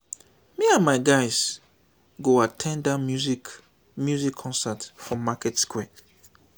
me and my guys go at ten d that music music concert for market square